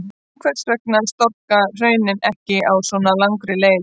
En hvers vegna storkna hraunin ekki á svo langri leið?